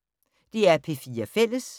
DR P4 Fælles